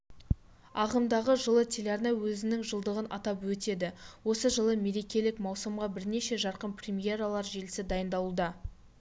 ағымдағы жылы теліарна өзінің жылдығын атап өтеді осы ретте мерекелік маусымға бірнеше жарқын премьералар желісі дайындалуда